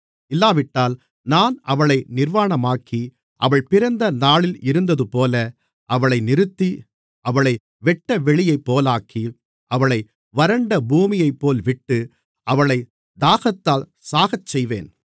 இல்லாவிட்டால் நான் அவளை நிர்வாணமாக்கி அவள் பிறந்தநாளில் இருந்ததுபோல அவளை நிறுத்தி அவளை வெட்டவெளியைப்போலாக்கி அவளை வறண்டபூமியைப்போல் விட்டு அவளைத் தாகத்தால் சாகச்செய்வேன்